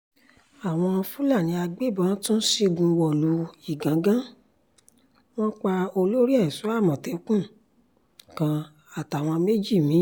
àwọn fúlàní agbébọn tún ṣígun wọ̀lú ìgangan wọn pa olórí ẹ̀ṣọ́ àmọ̀tẹ́kùn kan àtàwọn méjì mi